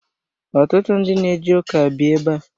Ọtụtụ ndị na eje ụka bi ebe a.